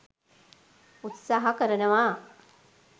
උත්සහ කරනවා